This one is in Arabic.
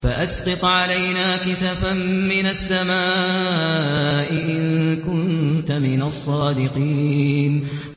فَأَسْقِطْ عَلَيْنَا كِسَفًا مِّنَ السَّمَاءِ إِن كُنتَ مِنَ الصَّادِقِينَ